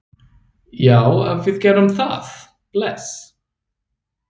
Já, við gerum það. Bless.